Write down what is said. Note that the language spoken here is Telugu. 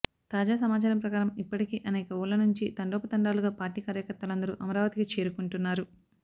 తాజా సమాచారం ప్రకారం ఇప్పటికే అనేక ఊళ్ల నుంచి తండోపతండాలుగా పార్టీ కార్యకర్తలందరూ అమరావతికి చేరుకుంటున్నారు